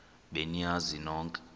be niyazi nonk